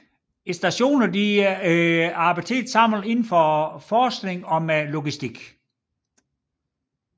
Stationerne samarbejder tæt indenfor forskning og med logistik